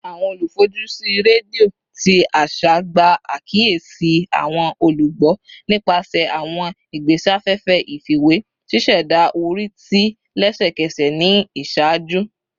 Awọn olufojusi redio ti aṣa gba akiyesi awọn olugbo nipasẹ awọn igbesafefe ifiwe, ṣiṣẹda ori ti lẹsẹkẹsẹ ni iṣaaju